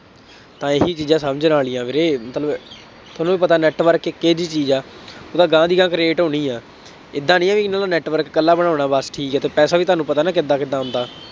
ਤਾਂ ਇਹੀ ਚੀਜ਼ਾਂ ਸਮਝਣ ਵਾਲੀਆਂ ਵੀਰੇ, ਮਤਲਬ ਤੁਹਾਨੂੰ ਵੀ ਪਤਾ network ਇੱਕ ਇਹੋ ਜਿਹੀ ਚੀਜ਼ ਹੈ ਉਹ ਤਾਂ ਅਗਾਂਹ ਦੀ ਅਗਾਂਹ create ਹੋਣੀ ਹੈ, ਏਦਾਂ ਨਹੀਂ ਹੈ, ਇਹਨਾ ਦਾ network ਇਕੱਲਾ ਬਣਾਉਣਾ ਬੱਸ ਠੀਕ ਹੈ ਅਤੇ ਪੈਸਾ ਵੀ ਤੁਹਾਨੂੰ ਪਤਾ ਨਾ ਕਿਦਾ ਕਿਦਾ ਆਉਂਦਾ